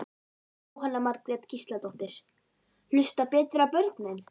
Jóhanna Margrét Gísladóttir: Hlusta betur á börnin?